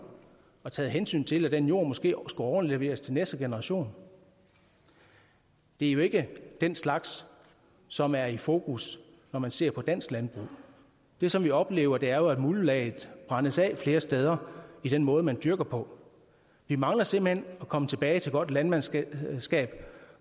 og taget hensyn til at den jord måske skulle overleveres til næste generation det er jo ikke den slags som er i fokus når man ser på dansk landbrug det som vi oplever er jo at muldlaget brændes af flere steder i den måde man dyrker på vi mangler simpelt hen at komme tilbage til godt landmandsskab